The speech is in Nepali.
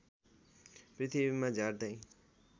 पृथ्वीमा झार्दै